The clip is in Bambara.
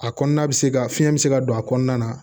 A kɔnɔna bɛ se ka fiɲɛ bɛ se ka don a kɔnɔna na